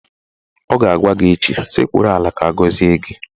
Ọ ga-agwa gị echi "Sekpuru ala ka agọzie gị!